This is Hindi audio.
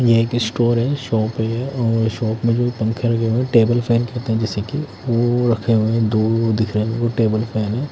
ये एक स्टोर है शॉप है और शॉप में भी पंखे लगे हुए है टेबल फेन कहते है जिसे की वो रखे हुए है दो दिख रहे है वो टेबल फेन है।